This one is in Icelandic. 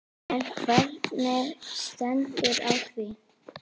En hvernig stendur á því?